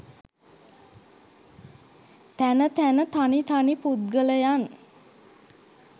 තැන තැන තනි තනි පුද්ගලයන්